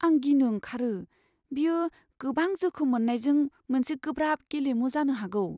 आं गिनो ओंखारो, बेयो गोबां जोखोम मोननायजों मोनसे गोब्राब गेलेमु जानो हागौ।